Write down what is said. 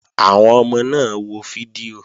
Àwọn ọmọ náà wo fídíò